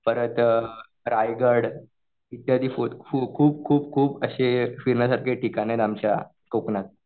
परत रायगड इत्यादी फोर्ट खूप खूप खूप असे फिरण्यासारखे ठिकाण आहेत आमच्या कोकणात.